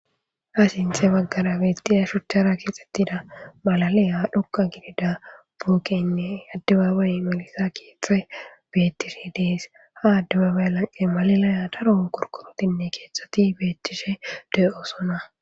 Ha sinthe baggara beettida shuchchara kixxettida malalayha dhoqa gidida buukeynne addubabay melisa keexe bettishe dees ha addubaabay lanqe malalaya daron korkorotinne keeththati beettishe dey'osona.